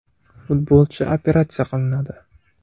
Futbolchi operatsiya qilinadi.